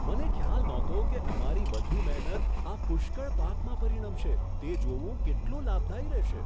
મને ખ્યાલ નહોતો કે અમારી બધી મહેનત આ પુષ્કળ પાકમાં પરિણમશે તે જોવું કેટલું લાભદાયી રહેશે.